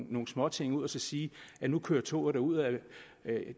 nogle småting ud og sige at nu kører toget derudad